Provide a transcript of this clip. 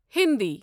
Hindi